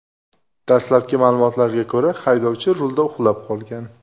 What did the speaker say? Dastlabki ma’lumotlarga ko‘ra, haydovchi rulda uxlab qolgan.